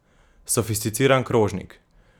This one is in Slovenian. Sofisticiran krožnik!